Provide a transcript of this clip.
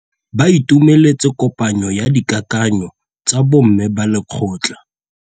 Ba itumeletse kôpanyo ya dikakanyô tsa bo mme ba lekgotla.